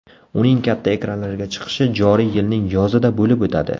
Uning katta ekranlarga chiqishi joriy yilning yozida bo‘lib o‘tadi.